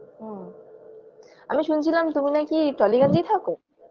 হুম আমি শুনছিলাম তুমি নাকি টলিগঞ্জেই থাকো